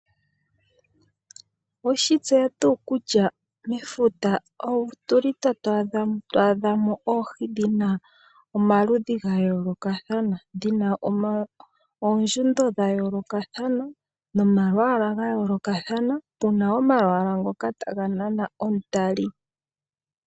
Owe shitseya tuu kutya mefuta otuli ta twaadhamo oohi dhina omaludhi gayoolokathana, dhina oondjundo dha yoolokathana nomalwaala gayoolokathana tuna ngoka taga nama omutali.